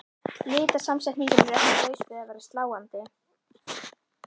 Litasamsetningin er ekki laus við að vera sláandi.